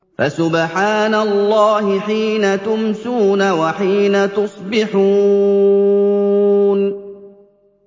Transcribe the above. فَسُبْحَانَ اللَّهِ حِينَ تُمْسُونَ وَحِينَ تُصْبِحُونَ